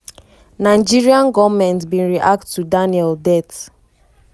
nigeria goment bin react to daniel death.